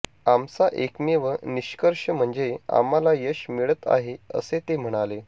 आमचा एकमेव निष्कर्ष म्हणजे आम्हाला यश मिळत आहे असे ते म्हणाले